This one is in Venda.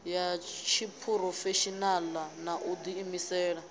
ya tshiphurofeshinala na u diimisela